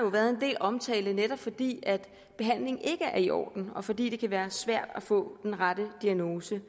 været en del omtale af den netop fordi behandlingen ikke er i orden og fordi det kan være svært at få den rette diagnose